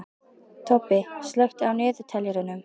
Tobbi, slökktu á niðurteljaranum.